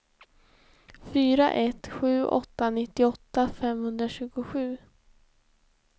fyra ett sju åtta nittioåtta femhundratjugosju